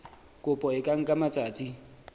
kopo e ka nka matsatsi